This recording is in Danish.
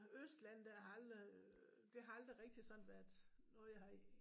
Østland der har aldrig det har aldrig rigtig sådan været noget jeg har